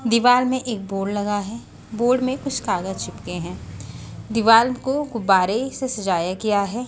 दीवाल में एक बोर्ड लगा है बोर्ड में कुछ कागज चिपके हैं दीवाल को गुब्बारे से सजाया गया है।